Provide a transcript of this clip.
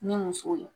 Ni musow ye